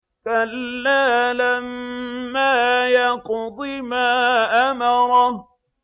كَلَّا لَمَّا يَقْضِ مَا أَمَرَهُ